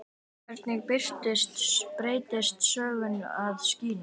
Hvernig beygist sögnin að skína?